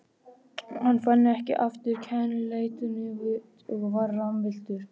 Hann fann ekki aftur kennileitin og var rammvilltur.